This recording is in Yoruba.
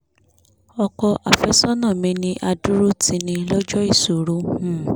ọkọ̀ àfẹ́sọ́nà mi ní adúró-tini lọ́jọ́ ìṣòro um